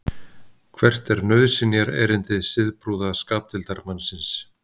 hvert er nauðsynjaerindi siðprúða skapdeildarmannsins